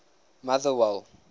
motherwell